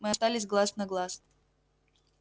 мы остались глаз на глаз